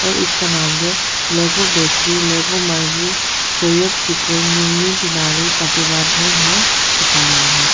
और इसका नाम जो लेगो बेकरी लेगो मर्गी सोयोप सिकोल मिर्मीर तीनालि पासीघाट भी है दिखा रहा है।